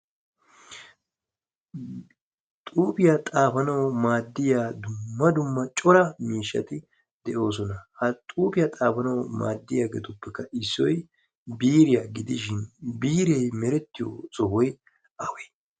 Xuufiya xaafanawu maadiya dumma dumma cora miishshati de'oosona. Ha xuufiya xaafanawu maadiyaageetuppekka issoy biiriya gidishin biiree merettiyo sohoy awe?